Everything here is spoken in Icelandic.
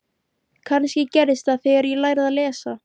Kannski gerðist það þegar ég lærði að lesa.